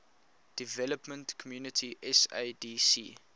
development community sadc